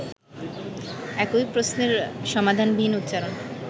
একই প্রশ্নের সমাধানবিহীন উচ্চারণ